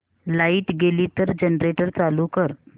light गेली तर generator चालू कर